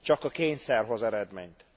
Csak a kényszer hoz eredményt.